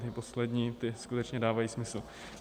Ty poslední, ty skutečně dávají smysl.